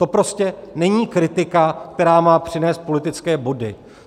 To prostě není kritika, která má přinést politické body.